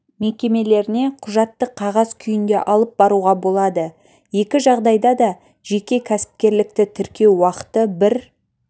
мекемелеріне құжатты қағаз күйінде алып баруға болады екі жағдайда да жеке кәсіпкерлікті тіркеу уақыты бір